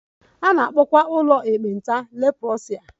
A na-akpọkwa ụlọ ekpenta leprosaria